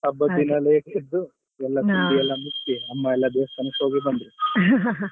ಹಬ್ಬದ್ ದಿನ late ಎದ್ದು ಎಲ್ಲ ತಿಂಡಿಯೆಲ್ಲ ಮುಗ್ಸಿ ಅಮ್ಮ ಎಲ್ಲಾ ದೇವಸ್ತಾನಕ್ಕೆ ಹೋಗಿ ಬಂದ್ರು .